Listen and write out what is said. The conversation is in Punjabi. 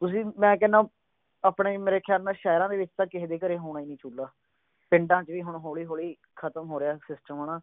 ਤੁਸੀਂ ਮੈਂ ਕਹਨਾ ਅਪਨੇ ਮੇਰੇ ਖ਼ਿਆਲ ਨਾਲ ਸ਼ਹਿਰਾਂ ਦੇ ਵਿਚ ਤੇ ਕਿਸੇ ਦੇ ਘਰੇ ਹੋਣਾ ਹੀ ਨਹੀਂ ਚੁੱਲ੍ਹਾ ਪਿੰਡਾਂ ਚ ਵੀ ਹੋਣ ਹੋਲੀ ਹੋਲੀ ਖਤਮ ਹੋ ਰਿਹਾ ਹੈ system ਹੈ ਨਾ